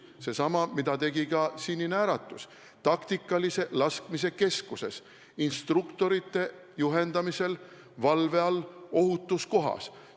Sedasama tegi ka Sinine Äratus taktikalise laskmise keskuses instruktorite juhendamisel, valve all ohutus kohas.